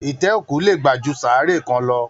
Itẹ òkú lè gbà jù saaré kàn lọ.